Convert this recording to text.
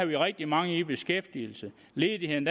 vi rigtig mange i beskæftigelse ledigheden